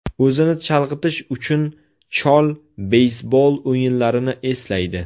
O‘zini chalg‘itish uchun, chol beysbol o‘yinlarini eslaydi.